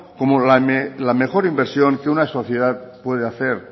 como la mejor inversión que una sociedad puede hacer